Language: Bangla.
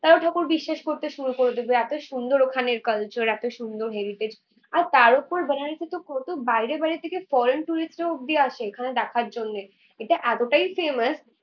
তারাও ঠাকুর বিশ্বাস করতে শুরু করে দেবে, এতো সুন্দর ওখানের culture এতো সুন্দর heritage । আর তার ওপর জায়গায় কত বাইরে বাইরের থেকে foreign tourists রাও অবধি আসে এখানে দেখার জন্যে। এটা এতটাই ফেমাস